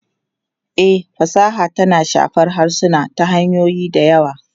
E, fasaha tana shafar harsuna ta hanyoyi da yawa.